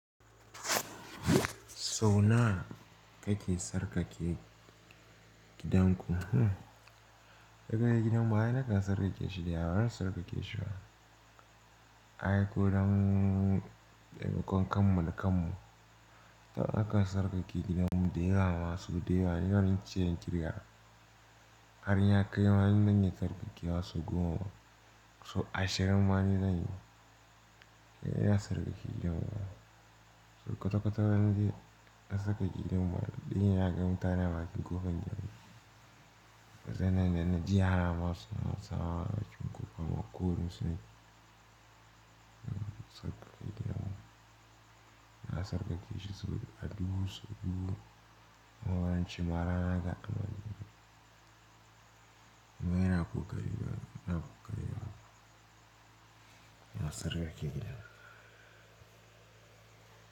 Sau nawa kake sarƙake gidanku? Kaka gidan baya nakan tsarƙake shi da yawa, ban tsarƙake shi ba. Ai ko don ɗan kakan kammala kanmu, ta yau aka tsarƙake gidan mu. Da yawa masu da yawa, ni yaron ciyar kirga. Har ya kai wani dan ya sarƙake wasu goma, so ashirin ma ni zan yi. Eh ya sarƙake gidan mu. So kwata-kwata zan je na saka gidan mu baɗi. Dan ya ga mutane baƙi gofan jiya. Zanai na ji ya hana masu, masu tsawa baƙi gofa ma ko musu ne. Sarƙa gidan mu. Na sarƙake shi sau dubu, sau dubu. Na baranci mara naka a kan wani. Amma yana kuka riga, yana kuka riga. Yana sarƙake gidan mu.